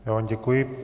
Já vám děkuji.